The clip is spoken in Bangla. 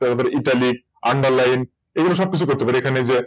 তারপর ItalicsUnderline এগুলো সব কিছু করতে পারি এখানে যে